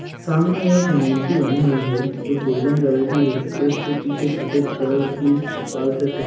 सामने एक मूर्ति बनी हुई है जो गोल्डन कलर की है उसके पीछे सफ़ेद कलर की त्रिपाल से टें --